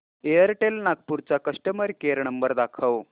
Airtel Nagpur चा customer care number दाखव